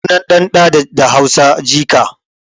Sunan ɗan ɗan da Hausa jika